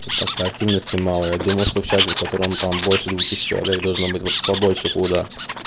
что-то как-то активности мало я думал что в чате в котором там больше двух тысяч человек должно быть побольше флуда